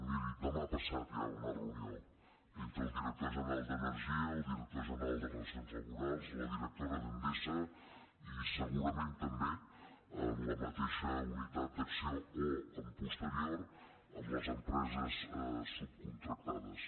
miri demà passat hi ha una reunió entre el director general d’energia el director general de relacions laborals la directora d’endesa i segurament també la mateixa unitat d’acció o amb posterioritat les em·preses subcontractades